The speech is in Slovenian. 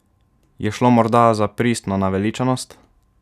Je šlo morda za pristno naveličanost?